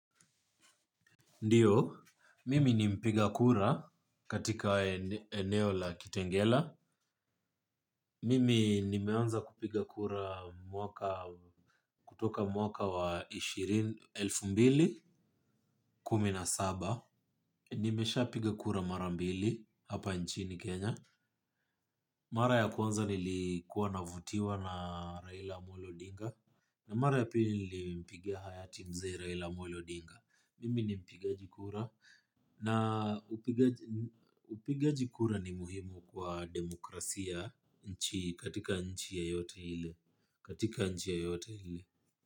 Ndio mimi ni mpiga kura jatika eneo la kitengela. Mimi nimeanza kupiga kura kutoka mwaka wa elfu mbili kumi na sita. Nimeshapiga kura mara mbili hapa nchini Kenya. Mara ya kwanza nilikuwa navutiwa na Raila Amolo Odinga. Na mara ya pili nilimpigia hayati mzee Raila Amolo Odinga. Mimi ni mpigajikura. Na upigaji upigaji kura ni muhimu kwa demokrasia katika nchi yoyote ile.